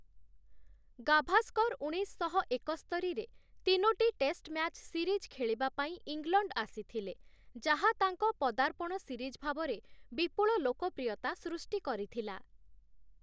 ଗାଭାସ୍କର ଉଣେଇଶଶହ ଏକସ୍ତରିରେ ତିନୋଟି -ଟେଷ୍ଟ ମ୍ୟାଚ୍ ସିରିଜ ଖେଳିବାପାଇଁ ଇଂଲଣ୍ଡ ଆସିଥିଲେ, ଯାହା ତାଙ୍କ ପଦାର୍ପଣ ସିରିଜ ଭାବରେ ବିପୁଳ ଲୋକପ୍ରିୟତା ସୃଷ୍ଟି କରିଥିଲା ।